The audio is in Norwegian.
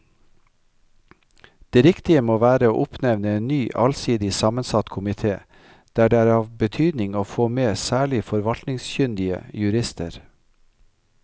Det riktige må være å oppnevne en ny allsidig sammensatt komite der det er av betydning å få med særlig forvaltningskyndige jurister.